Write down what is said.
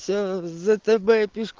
ээ за тэбэ пешк